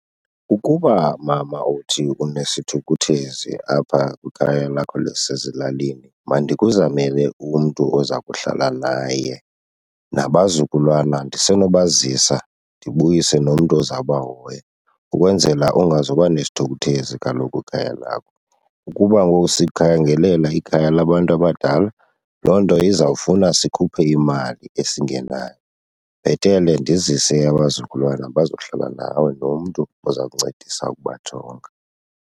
Ukuba mama uthi unesithukuthezi apha kwikhaya lakho lasezilalini mandikuzamele umntu oza kuhlala naye, nabazukulwana ndisenobazisa ndibuyise nomntu ozawubahoya ukwenzela ungazuba nesithukuthezi kaloku kwikhaya lakho. Ukuba ngoku sikukhangelela ikhaya labantu abadala, loo nto izawufuna sikhuphe imali esingenayo. Bhetele ndizise abazukulwana bazohlala nawe nomntu oza kuncedisa ukubajonga.